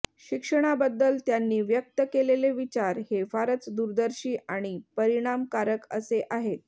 शिक्षणाबद्दल त्यांनी व्यक्त केलेले विचार हे फारच दूरदर्शी आणि परिणामकारक असे आहेत